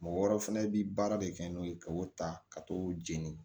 Mɔgɔ wɛrɛw fɛnɛ bi baara de kɛ n'o ye ka o ta ka t'o jeni